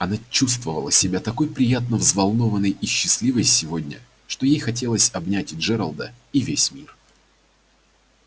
она чувствовала себя такой приятно взволнованной и счастливой сегодня что ей хотелось обнять и джералда и весь мир